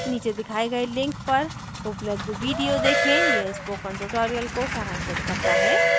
नीचे दिखाए गए link पर उपलब्ध video देखें यह spoken tutorial को सारांशित करता है